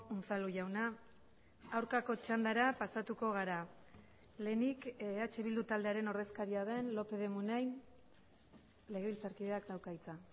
unzalu jauna aurkako txandara pasatuko gara lehenik eh bildu taldearen ordezkaria den lópez de munain legebiltzarkideak dauka hitza